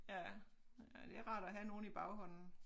Ja ja det rart at have nogen i baghånden